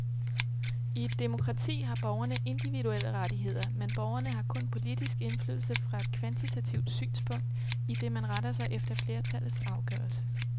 I et demokrati har borgerne individuelle rettigheder, men borgerne har kun politisk indflydelse fra et kvantitativt synspunkt, idet man retter sig efter flertallets afgørelse.